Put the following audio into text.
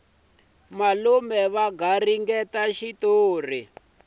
malume va garingeta xitori